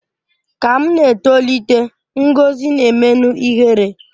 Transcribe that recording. Ka m na-etolite, Ngọzi na-emenụ ihere